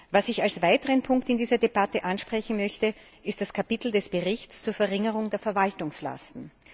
Was ich als weiteren Punkt in dieser Debatte ansprechen möchte, ist das Kapitel des Berichts zur Verringerung der Verwaltungslasten.